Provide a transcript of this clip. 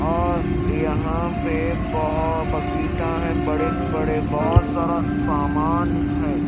और यहां पे बहुत बकिता हैं बड़े बड़े बहुत सारा सामान है।